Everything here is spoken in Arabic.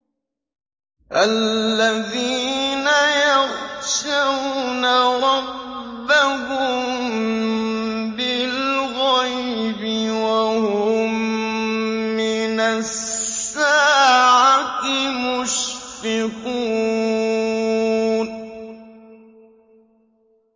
الَّذِينَ يَخْشَوْنَ رَبَّهُم بِالْغَيْبِ وَهُم مِّنَ السَّاعَةِ مُشْفِقُونَ